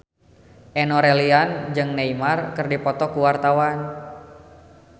Enno Lerian jeung Neymar keur dipoto ku wartawan